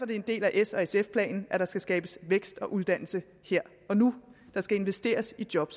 det en del af s og sf planen at der skal skabes vækst og uddannelse her og nu der skal investeres i job